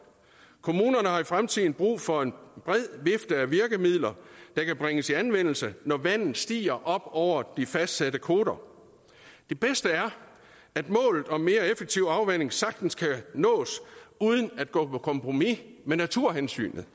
kommunerne har i fremtiden brug for en bred vifte af virkemidler der kan bringes i anvendelse når vandet stiger op over de fastsatte koter det bedste er at målet om mere effektiv afvanding sagtens kan nås uden at vi går på kompromis med naturhensynet